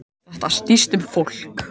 Þetta snýst um fólk